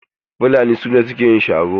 Fulani su ne suke yin sharo.